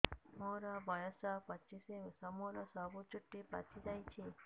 ମୋର ବୟସ ପଚିଶି ମୋର ସବୁ ଚୁଟି ପାଚି ଯାଇଛି